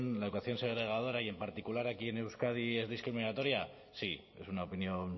la educación segregadora y en particular aquí en euskadi es discriminatoria sí es una opinión